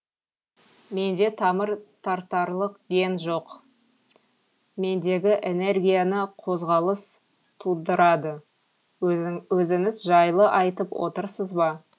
менде тамыр тартарлық ген жоқ мендегі энергияны қозғалыс тудырады өзіңіз жайлы айтып отырсыз ба